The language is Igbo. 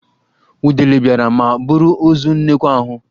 Udele biara ma buru ozu nnekwu ahụ.